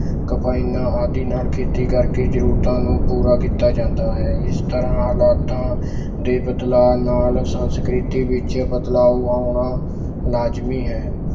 ਕਬਾਇਨਾਂ ਆਦਿ ਨਾਲ ਖੇਤੀ ਕਰਕੇ ਜ਼ਰੂਰਤਾਂ ਨੂੰ ਪੂਰਾ ਕੀਤਾ ਜਾਂਦਾ ਹੈ ਇਸ ਤਰ੍ਹਾਂ ਹਾਲਾਤਾਂ ਦੇ ਬਦਲਾਅ ਨਾਲ ਸੰਸਕ੍ਰਿਤੀ ਵਿੱਚ ਬਦਲਾਓ ਆਉਣਾ ਲਾਜ਼ਮੀ ਹੈ।